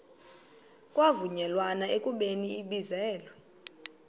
kwavunyelwana ekubeni ibizelwe